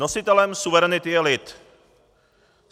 Nositelem suverenity je lid.